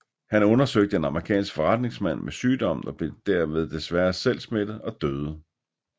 Han undersøgte en amerikansk forretningsmand med sygdommen og blev desværre derved selv smittet og døde